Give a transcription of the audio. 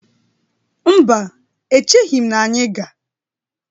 Mba, echighi m na anyị ga.